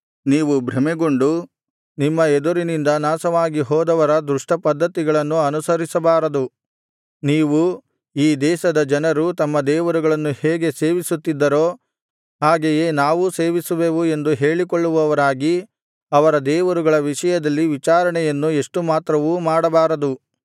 ನೀವು ಭ್ರಮೆಗೊಂಡು ನಿಮ್ಮ ಎದುರಿನಿಂದ ನಾಶವಾಗಿ ಹೋದವರ ದುಷ್ಟಪದ್ಧತಿಗಳನ್ನು ಅನುಸರಿಸಬಾರದು ನೀವು ಈ ದೇಶದ ಜನರು ತಮ್ಮ ದೇವರುಗಳನ್ನು ಹೇಗೆ ಸೇವಿಸುತ್ತಿದ್ದರೋ ಹಾಗೆಯೇ ನಾವೂ ಸೇವಿಸುವೆವು ಎಂದು ಹೇಳಿಕೊಳ್ಳುವವರಾಗಿ ಅವರ ದೇವರುಗಳ ವಿಷಯದಲ್ಲಿ ವಿಚಾರಣೆಯನ್ನು ಎಷ್ಟು ಮಾತ್ರವೂ ಮಾಡಬಾರದು